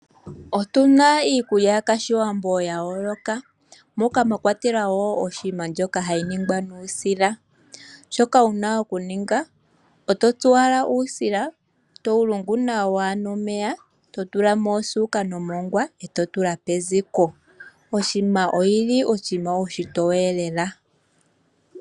Otu na iikulya yOshiwambo ya yooloka, moka mwa kwatelwa oshikwiila shoka hashi ningwa nuusila. Shoka wu na okuninga; oto tsu owala uusila e to wu lungu nawa nomeya, to tula mo osuuka nomongwa, e to tula peziko. Oshikwiila oshinima oshitoye noonkondo.